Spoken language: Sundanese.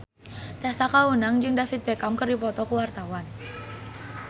Tessa Kaunang jeung David Beckham keur dipoto ku wartawan